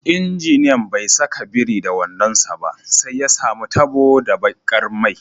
Injiniyan bai saka biri da wando sa ba, sai ya samu tabo da bakar mai.